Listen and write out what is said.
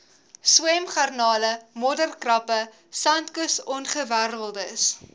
swemgarnale modderkrappe sandkusongewerweldes